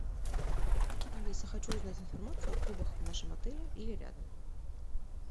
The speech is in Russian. алиса хочу узнать информацию о клубах в нашем отеле или рядом